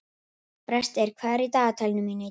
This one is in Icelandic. Brestir, hvað er í dagatalinu mínu í dag?